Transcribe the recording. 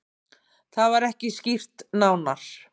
Það var ekki skýrt nánar.